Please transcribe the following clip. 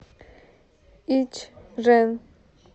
ичжэн